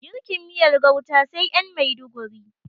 Girkin miyar gauta sai ƴan maiduguri